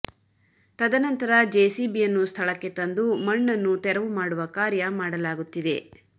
ತದನಂತರ ಜೆಸಿಬಿಯನ್ನು ಸ್ಥಳಕ್ಕೆ ತಂದು ಮಣ್ಣನ್ನು ತೆರವು ಮಾಡುವ ಕಾರ್ಯ ಮಾಡಲಾಗುತ್ತಿದೆ